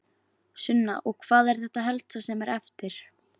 Sunna: Og hvað er þetta helsta sem er eftir?